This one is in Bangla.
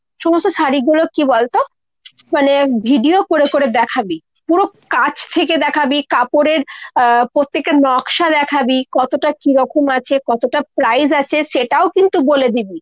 সমস্ত শাড়ীগুলো কী বলতো মানে video করে করে দেখাবি। পুরো কাছ থেকে দেখাবি, কাপড়ের আহ পত্তেকটা নকশা দেখাবি কতটা কিরকম আছে কতটা price আছে সেটাও কিন্তু বলে দিবি।